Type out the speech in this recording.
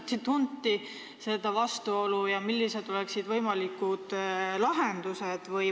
Kas seda vastuolu tunnistati ja kui jah, siis millised oleksid võimalikud lahendused?